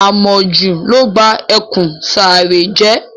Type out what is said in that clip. Àmojù ló ba ẹkùn Sàáré jẹ́.